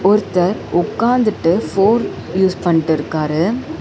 ஒருத்தர் உக்காந்துட்டு phone use பண்ட்ருக்காரு.